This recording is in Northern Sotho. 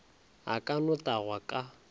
a ka no tagwa ka